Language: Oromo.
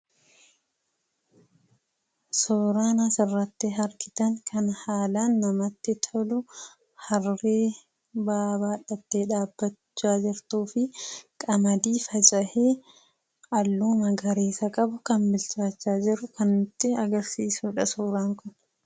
Suuraan asirratti argitan harree ba'aa baadhattee dhaabattudha. Akkasumas, qamadii faca'ee halluu magariisa qabu kan bilchaachaa jiru kan nutti agarsiisudha.